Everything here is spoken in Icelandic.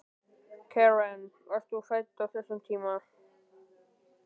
Karen: Varst þú fædd á þessum tíma?